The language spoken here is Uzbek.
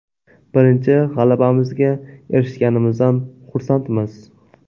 Birinchi g‘alabamizga erishganimizdan xursandmiz.